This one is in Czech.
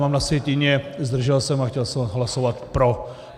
Mám na sjetině zdržel se, a chtěl jsem hlasovat pro.